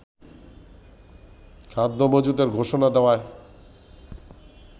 খাদ্য মজুদের ঘোষণা দেওয়ায়